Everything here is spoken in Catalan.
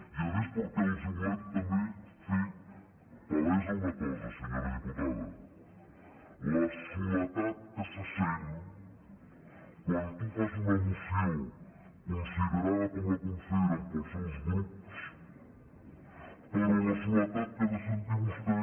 i a més perquè els volem també fer palesa una cosa senyora diputada la soledat que se sent quan tu fas una moció considerada com la consideren pels seus grups però la soledat que ha de sentir vostè